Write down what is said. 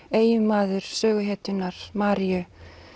eiginmaður söguhetjunnar Maríu